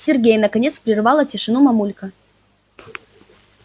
сергей наконец прервала тишину мамулька